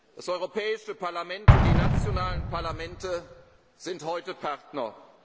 Das Europäische Parlament und die nationalen Parlamente sind heute